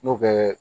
N'o bɛ